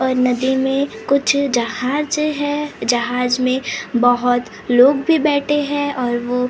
और नदी में कुछ जहाज हैं जहाज में बहोत लोग भी बैठे हैं और वो--